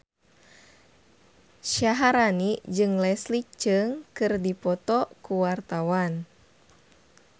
Syaharani jeung Leslie Cheung keur dipoto ku wartawan